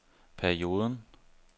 perioden